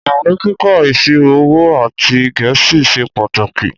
Ìwé kíkà ìsírò òwó àtí gẹẹsí sẹ pàtákí.